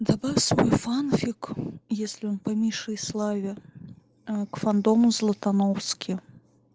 добавь свой фанфик если он по мише и славе ээ к фандому златоновски